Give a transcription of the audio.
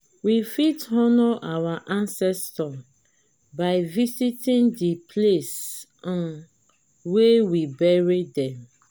we fit honour our ancestor by visiting di place um wey we bury them